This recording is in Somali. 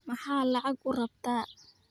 Maxaad lacag u rabtaa?